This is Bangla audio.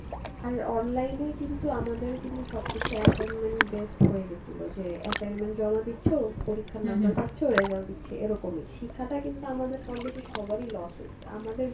আর online এ কিন্তু আমাদের কিন্তু সবকিছু assignment based হয়ে গেসিলো যে assignment জমা দিচ্ছ পরীক্ষার number পাচ্ছো, result দিচ্ছি এরকমই শিক্ষাটা কিন্তু আমাদের কম বেশি সবারই loss হইসে, আমাদের